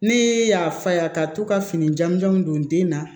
Ne y'a fa ye ka to ka fini jamuw don den na